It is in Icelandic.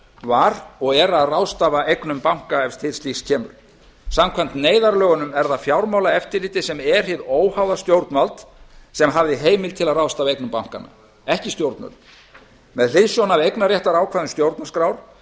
var og er að ráðstafa eignum banka ef til slíks kemur samkvæmt neyðarlögunum er það fjármálaeftirlitið sem er hið óháða stjórnvald sem hafði heimild til að ráðstafa eignum bankanna ekki stjórnvöld með hliðsjón af eignarréttarákvæðum stjórnarskrár